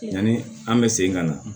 Yanni an bɛ segin ka na